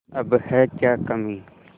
अब है क्या कमीं